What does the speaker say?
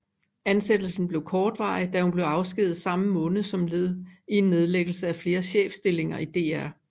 Ansættelse blev kortvarig da hun blev afskediget samme måned som led i en nedlæggelse af flere chefstillinger i DR